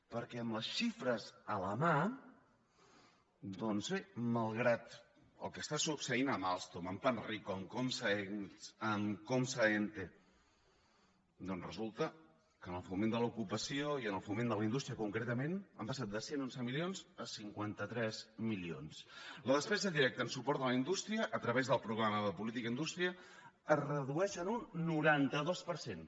perquè amb les xifres a la mà doncs bé malgrat el que està succeint amb alstom amb panrico amb comsa emte resulta que en el foment de l’ocupació i en el foment de la indústria concretament han passat de cent i onze milions a cinquanta tres milions la despesa directa en suport a la indústria a través del programa de política industrial es redueix en un noranta dos per cent